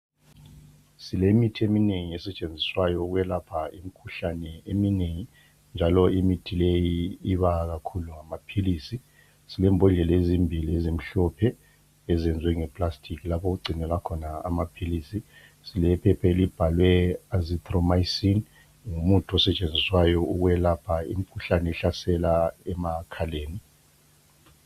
Silemithi eminengi esetshenziswa ukulapha imikhuhlane eminengi njalo imithi leyi iba ngama philizi silembodlela ezimbili ezihlompe eziyenze ngepulasitiki lapha okugcinywelwa khona amaphilizi silephepha elibhalwe asithromycin ngumuntu oyenzelwe ukulapha umkhuhlane ohlasela emakhaleni